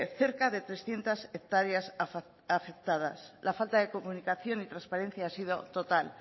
cerca de trescientos hectáreas afectadas la falta de comunicación y transparencia ha sido total